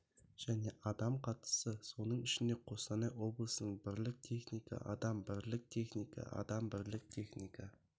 және адам қатысты соның ішінде қостанай облысының бірлік техника адам бірлік техника адам бірлік техника